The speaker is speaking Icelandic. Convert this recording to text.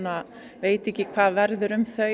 veit ekki hvað verður um þau